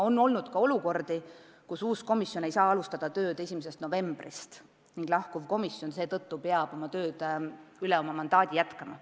On olnud ka olukordi, kus uus komisjon ei saa alustada tööd 1. novembril ning lahkuv komisjon peab seetõttu tööd üle oma mandaadiga antud aja jätkama.